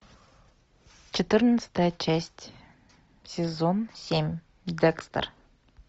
четырнадцатая часть сезон семь декстер